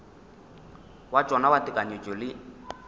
wa tšona wa tekanyetšo le